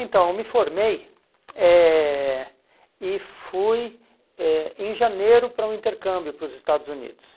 Então, eu me formei eh e fui eh em janeiro para um intercâmbio para os Estados Unidos.